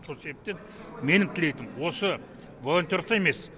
сол себептен менің тілейтінім осы волонтеров та емес